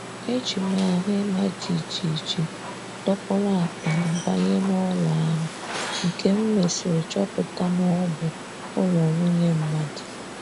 Éjim ahụ ịmá jijiji dokpuru akpa m banye n'ụlọ ahụ, nke m mesri chọpụta na ọ bụ ụlọ nwunye mmadụ.